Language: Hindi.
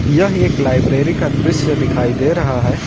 यह एक लाइब्रेरी का दृश्य दिखाई दे रहा है।